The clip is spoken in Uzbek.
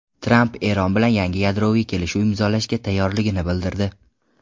Tramp Eron bilan yangi yadroviy kelishuv imzolashga tayyorligini bildirdi.